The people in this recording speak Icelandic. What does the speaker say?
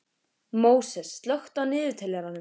Móses, slökktu á niðurteljaranum.